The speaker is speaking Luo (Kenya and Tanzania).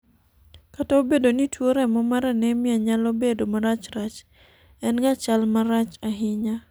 kata obedo ni tuo remo mar anemia nyalo bedo marachrach, en ga chal marach ahinya